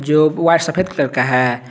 सफेद कलर का है।